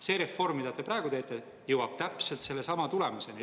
See reform, mida te praegu teete, jõuab täpselt sellesama tulemuseni.